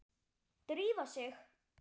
Drífa sig